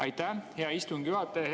Aitäh, hea istungi juhataja!